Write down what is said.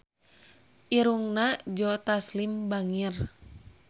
Irungna Joe Taslim bangir